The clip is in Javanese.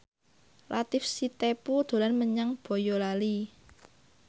Latief Sitepu dolan menyang Boyolali